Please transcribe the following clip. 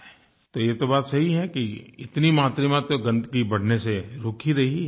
तो ये तो बात सही है कि इतनी मात्रा में गंदगी बढ़ने से रुक ही रही है